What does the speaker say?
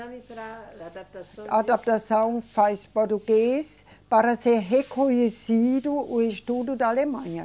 Exame para adaptação. Adaptação faz português para ser reconhecido o estudo da Alemanha.